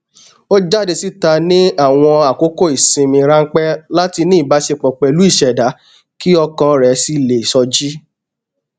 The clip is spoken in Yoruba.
ó jáde síta ní àwọn àkókò isinmi ránpẹ láti ní ìbáṣepọ pẹlú ìṣẹdá kí ọkàn rẹ sì le sọjí